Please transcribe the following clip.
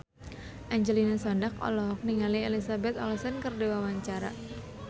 Angelina Sondakh olohok ningali Elizabeth Olsen keur diwawancara